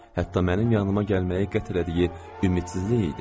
Hətta mənim yanıma gəlməyi qətlədiyi ümidsizlik idimi?